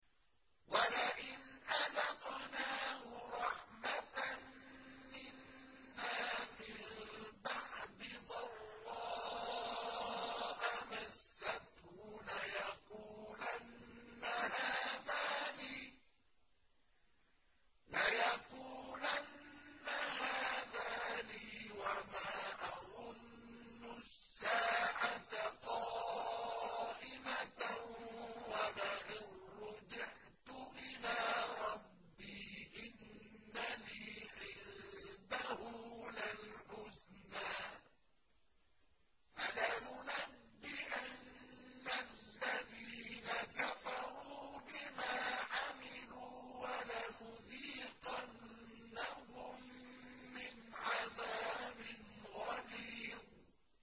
وَلَئِنْ أَذَقْنَاهُ رَحْمَةً مِّنَّا مِن بَعْدِ ضَرَّاءَ مَسَّتْهُ لَيَقُولَنَّ هَٰذَا لِي وَمَا أَظُنُّ السَّاعَةَ قَائِمَةً وَلَئِن رُّجِعْتُ إِلَىٰ رَبِّي إِنَّ لِي عِندَهُ لَلْحُسْنَىٰ ۚ فَلَنُنَبِّئَنَّ الَّذِينَ كَفَرُوا بِمَا عَمِلُوا وَلَنُذِيقَنَّهُم مِّنْ عَذَابٍ غَلِيظٍ